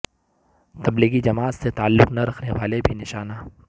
تبلیغی جماعت سے تعلق نہ رکھنے والے بھی نشانہ